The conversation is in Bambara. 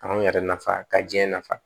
K'anw yɛrɛ nafa ka diɲɛ nafa